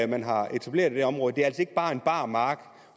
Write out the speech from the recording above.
man har etableret i det område det er altså ikke bare en bar mark og